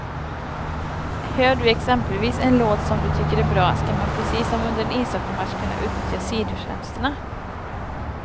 Hör du exempelvis en låt som du tycker är bra, ska man precis som under en ishockeymatch kunna utnyttja sidotjänsterna.